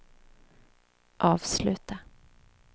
avsluta